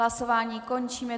Hlasování končím.